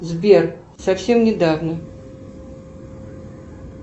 сбер совсем недавно